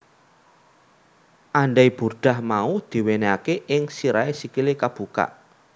Andai burdah mau diwenehake ing sirahe sikile kebuka